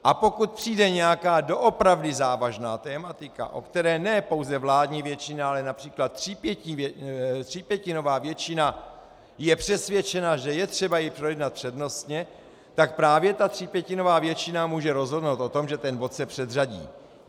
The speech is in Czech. A pokud přijde nějaká doopravdy závažná tematika, o které ne pouze vládní většina, ale například třípětinová většina je přesvědčena, že je třeba ji projednat přednostně, tak právě ta třípětinová většina může rozhodnout o tom, že ten bod se předřadí.